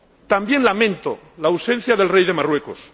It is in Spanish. También lamento la ausencia del Rey de Marruecos.